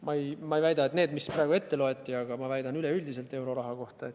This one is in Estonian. Ma ei väida, et see käib nende programmide kohta, mis praegu ette loeti, ma väidan seda üleüldiselt euroraha kohta.